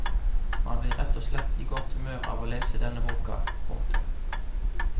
Man blir rett og slett i godt humør av å lese denne boka. punktum